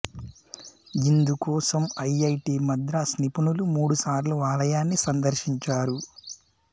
ఇందు కోసం ఐఐటి మద్రాస్ నిపుణులు మూడుసార్లు ఆలయాన్ని సందర్శించారు